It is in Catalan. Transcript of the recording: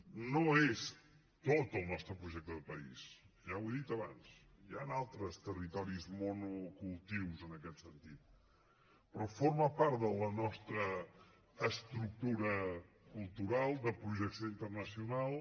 no és tot el nostre projecte de país ja ho he dit abans hi han altres territoris monocultius en aquest sentit però forma part de la nostra estructura cultural de projecció internacional